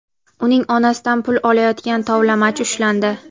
uning onasidan pul olayotgan tovlamachi ushlandi.